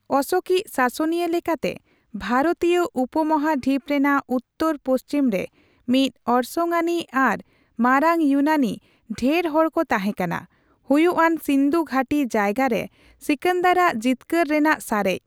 ᱚᱥᱚᱠᱤᱡ ᱥᱟᱥᱚᱱᱤᱭᱟᱹ ᱞᱮᱠᱟᱛᱮ ᱵᱷᱟᱨᱚᱛᱤᱭᱚ ᱩᱯᱢᱟᱦᱟᱰᱷᱤᱯ ᱨᱮᱱᱟᱜ ᱩᱛᱛᱚᱨᱼᱯᱚᱪᱷᱤᱢ ᱨᱮ ᱢᱤᱫ ᱚᱨᱥᱚᱝ ᱟᱹᱱᱤᱡ ᱟᱨ ᱢᱟᱨᱟᱝ ᱭᱩᱱᱟᱱᱤ ᱰᱷᱮᱨᱦᱚᱲ ᱠᱚ ᱛᱟᱦᱮᱸ ᱠᱟᱱᱟ, ᱦᱩᱭᱩᱜ ᱟᱱ ᱥᱤᱸᱫᱷᱩ ᱜᱷᱟᱹᱴᱤ ᱡᱟᱭᱜᱟ ᱨᱮ ᱥᱤᱠᱟᱱᱫᱟᱨ ᱨᱟᱜ ᱡᱤᱛᱠᱟᱹᱨ ᱨᱮᱱᱟᱜ ᱥᱟᱨᱮᱡ᱾